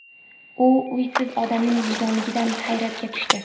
U uysiz odamning vijdonliligidan hayratga tushdi.